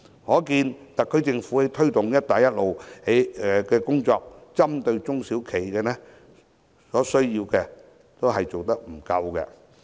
可見特區政府在推動"一帶一路"的工作上，針對中小企的需要做得不足。